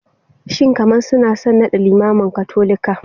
Shin kamar suna son nada limamin Katolika?